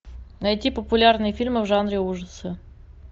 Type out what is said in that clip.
найти популярные фильмы в жанре ужасы